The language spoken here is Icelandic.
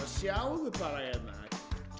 sjáðu bara hérna í